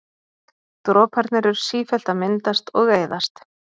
droparnir eru sífellt að myndast og eyðast